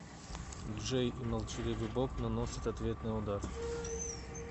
джей и молчаливый боб наносят ответный удар